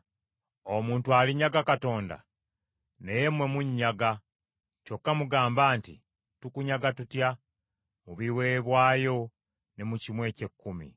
“Omuntu alinyaga Katonda? “Naye mmwe munnyaga. Kyokka mugamba nti, ‘Tukunyaga tutya?’ “Mu biweebwayo ne mu kimu eky’ekkumi.